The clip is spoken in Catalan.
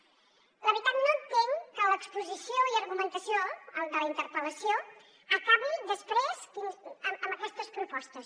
la veritat no entenc que l’exposició i argumentació de la interpel·lació acabi després amb aquestes propostes